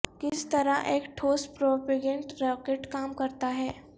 کس طرح ایک ٹھوس پروپیگنٹ راکٹ کام کرتا ہے